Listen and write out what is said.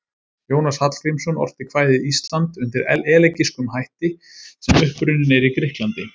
Jónas Hallgrímsson orti kvæðið Ísland undir elegískum hætti sem upprunninn er í Grikklandi.